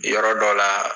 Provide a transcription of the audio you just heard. Yɔrɔ dɔ la